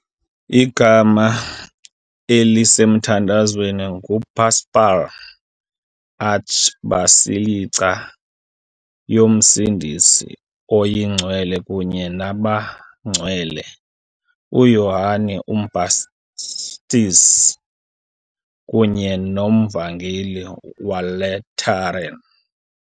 Igama elisemthethweni ngu "Papal Archbasilica yoMsindisi oyiNgcwele kunye nabaNgcwele uYohane uMbhaptizi kunye noMvangeli weLateran" .